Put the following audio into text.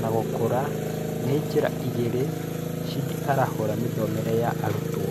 na gũkũra nĩ njĩra ĩgĩri cĩngĩ arahũra mĩthomeere ya arutwo.